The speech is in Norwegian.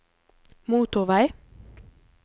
motorvei